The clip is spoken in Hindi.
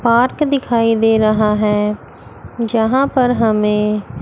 पार्क दिखाई दे रहा है जहां पर हमें--